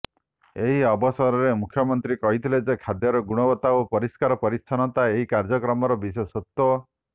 ଏହି ଅବସରରେ ମୁଖ୍ୟମନ୍ତ୍ରୀ କହିଥିଲେ ଯେ ଖାଦ୍ୟର ଗୁଣବତ୍ତା ଓ ପରିଷ୍କାର ପରିଚ୍ଛନ୍ନତା ଏହି କାର୍ଯ୍ୟକ୍ରମର ବିଶେଷତ୍ୱ